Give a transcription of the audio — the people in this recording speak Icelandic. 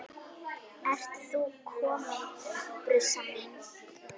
Ertu nú komin, brussan mín?